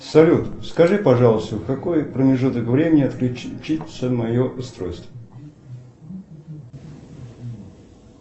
салют скажи пожалуйста в какой промежуток времени отключится мое устройство